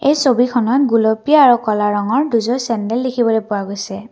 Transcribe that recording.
এই ছবিখনত গুলপীয়া আৰু ক'লা ৰঙৰ দুযোৰ চেন্দেল দেখিবলৈ পোৱা গৈছে।